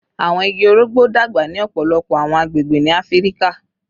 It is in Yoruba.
Awọn igi orogbo dagba ni ọpọlọpọ awọn agbegbe ni Afirika